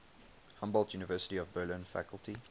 humboldt university of berlin faculty